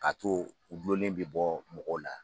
K'a to o joli in bɛ bɔ mɔgɔ la.